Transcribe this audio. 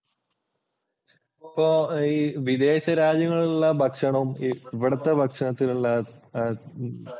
ഇപ്പോൾ ഈ വിദേശ രാജ്യങ്ങളിലുള്ള ഭക്ഷണവും ഇവിടത്തെ ഭക്ഷണത്തിനുള്ള